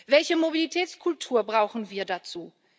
Welche Mobilitätskultur brauchen wir dazu?